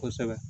Kosɛbɛ